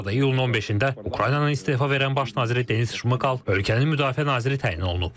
Bu arada, iyulun 15-də Ukraynanın istefa verən baş naziri Denis Şmıkal ölkənin müdafiə naziri təyin olunub.